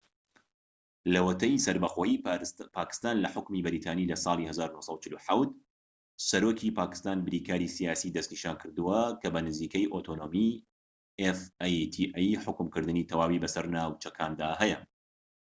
لەوەتەی سەربەخۆیی پاکستان لە حوکمی بەریتانی لە ساڵی 1947 سەرۆکی پاکستان بریکاری سیاسی دەسنیشانکردووە بۆ حوکمکردنی fata کە بە نزیکەیی ئۆتۆنۆمی تەواوی بەسەر ناوچەکاندا هەیە